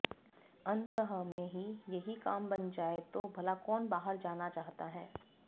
अन्तः में ही यहि काम बन जाय तो भला कौन बाहर जाना चाहता है